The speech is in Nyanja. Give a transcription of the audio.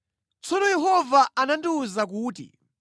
Tsono Yehova anandiwuza kuti,